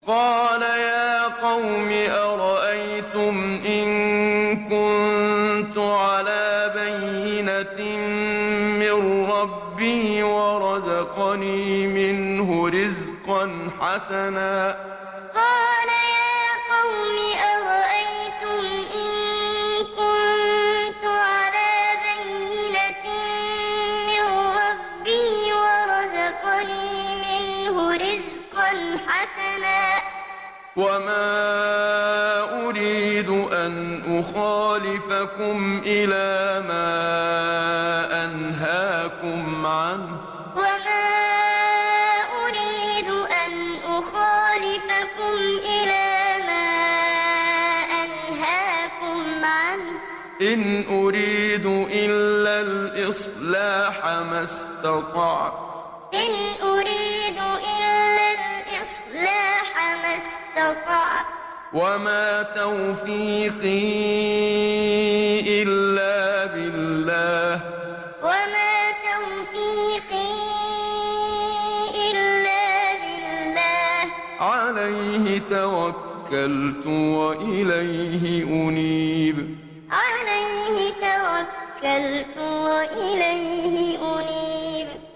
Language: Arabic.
قَالَ يَا قَوْمِ أَرَأَيْتُمْ إِن كُنتُ عَلَىٰ بَيِّنَةٍ مِّن رَّبِّي وَرَزَقَنِي مِنْهُ رِزْقًا حَسَنًا ۚ وَمَا أُرِيدُ أَنْ أُخَالِفَكُمْ إِلَىٰ مَا أَنْهَاكُمْ عَنْهُ ۚ إِنْ أُرِيدُ إِلَّا الْإِصْلَاحَ مَا اسْتَطَعْتُ ۚ وَمَا تَوْفِيقِي إِلَّا بِاللَّهِ ۚ عَلَيْهِ تَوَكَّلْتُ وَإِلَيْهِ أُنِيبُ قَالَ يَا قَوْمِ أَرَأَيْتُمْ إِن كُنتُ عَلَىٰ بَيِّنَةٍ مِّن رَّبِّي وَرَزَقَنِي مِنْهُ رِزْقًا حَسَنًا ۚ وَمَا أُرِيدُ أَنْ أُخَالِفَكُمْ إِلَىٰ مَا أَنْهَاكُمْ عَنْهُ ۚ إِنْ أُرِيدُ إِلَّا الْإِصْلَاحَ مَا اسْتَطَعْتُ ۚ وَمَا تَوْفِيقِي إِلَّا بِاللَّهِ ۚ عَلَيْهِ تَوَكَّلْتُ وَإِلَيْهِ أُنِيبُ